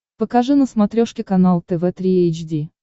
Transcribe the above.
покажи на смотрешке канал тв три эйч ди